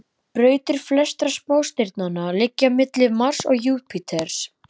Brautir flestra smástirnanna liggja milli Mars og Júpíters.